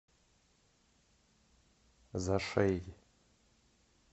зашей